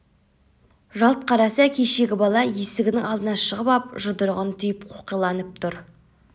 жалт қараса кешегі бала есігінің алдына шығып ап жұдырығын түйіп қоқиланып тұр